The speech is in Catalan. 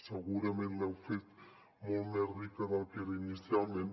segurament l’heu fet molt més rica del que era inicialment